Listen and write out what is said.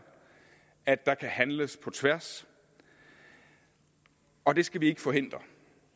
at der kan handles på tværs og det skal vi ikke forhindre